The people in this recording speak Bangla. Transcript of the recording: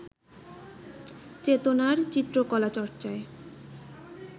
চেতনার চিত্রকলা-চর্চায়